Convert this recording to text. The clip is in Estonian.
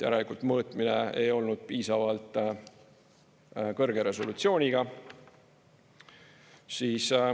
Järelikult mõõtmine ei olnud piisavalt kõrge resolutsiooniga.